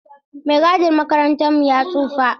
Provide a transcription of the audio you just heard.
Maigadin makarantar mu ya tsufa.